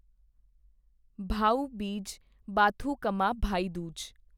Bhau Beej Bathukamma Bhai Dooj